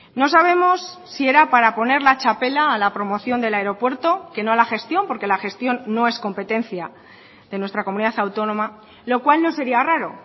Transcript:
no sabemos si era para poner la txapela a la promoción del aeropuerto que no a la gestión porque la gestión no es competencia de nuestra comunidad autónoma lo cual no sería raro